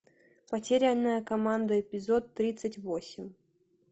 потерянная команда эпизод тридцать восемь